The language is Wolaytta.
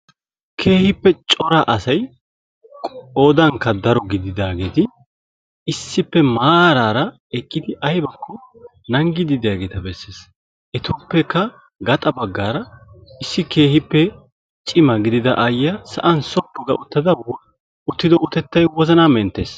keehippe cora asay qoodankka daro gididaageeti issippe maaraara aybakko nanggiiddi diyageeta besses. Etuppekka gaxa baggaara issi cima gidida aayyaa sa'an sophu ga uttada uttido utettay wozanaa menttes.